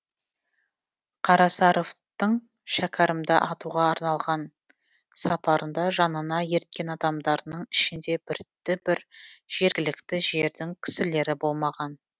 қарасаравтың шәкәрімда атуға арналған сапарында жанына ерткен адамдарының ішінде бірді бір жергілікті жердің кісілері болмаған